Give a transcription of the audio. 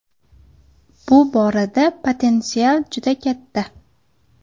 Bu borada potensial juda katta.